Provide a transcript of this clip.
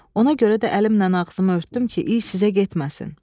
Ona görə də əlimlə ağzımı örtdüm ki, iy sizə getməsin."